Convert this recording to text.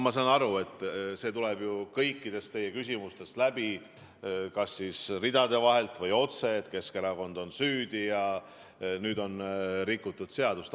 Kuid see tuleb ju kõikidest teie küsimustest läbi, kas siis ridade vahelt või otse, et Keskerakond on süüdi ja nüüd on rikutud seadust.